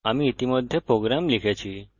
আমি ইতিমধ্যে program লিখেছি